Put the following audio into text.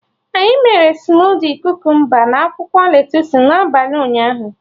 Anyị mere smudi Kukumba na akwụkwọ lettusu n'abalị ụnyaahụ